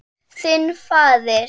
Þinn faðir.